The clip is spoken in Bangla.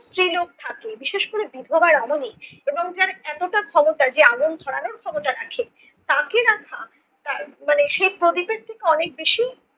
স্ত্রীলোক থাকে বিশেষ করে বিধবা রমণী এবং যার এতটা ক্ষমতা যে আগুন ধরানো ক্ষমতা রাখে। তাকে রাখা মানে সেই প্রদীপের থেকে অনেক বেশি